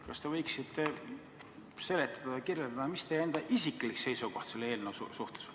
Kas te võiksite seletada, kirjeldada, mis teie enda isiklik seisukoht selle eelnõu suhtes on?